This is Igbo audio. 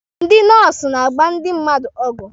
Ndị nọọsụ na-agba ndị mmadụ ọgwụ.